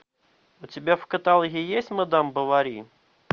у тебя в каталоге есть мадам бовари